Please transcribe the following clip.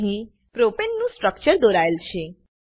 અહી પ્રોપને નું સ્ટ્રક્ચર દોરાયેલ છે